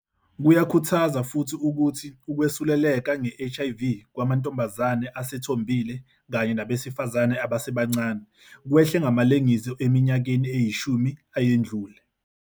Kuyakhuthaza futhi ukuthi ukwesuleleka nge-HIV kwamantombazane asethombile kanye nabesifazane abasebancane kwehle ngamalengiso eminyakeni eyishumi eyedlule.